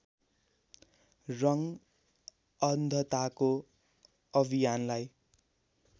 रङ्ग अन्धताको अभियानलाई